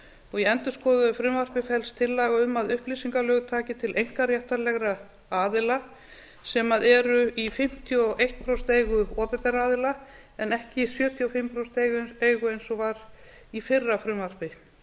og í endurskoðuðu frumvarpi felst tillaga um að upplýsingalög taki til einkaréttarlegra aðila sem eru í fimmtíu og eitt prósent eigu opinberra aðila en ekki í sjötíu og fimm prósent eigu eins og var í fyrra frumvarpi